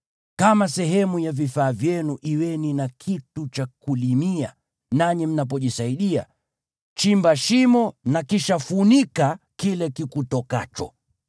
Kama sehemu ya vifaa vyenu kuweni na kitu cha kulimia, nanyi mnapojisaidia, chimba shimo na kisha funika kile kikutokacho.